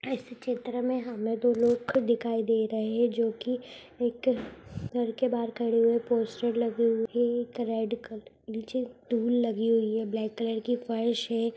चित्र में हमें दो लोग दिखाई दे रहे जो की एक घर के बाहर खड़े हुए पोस्टर लगे हुए रेड कलर नीचे टूल लगी हुई है ब्लैक कलर की फर्श है।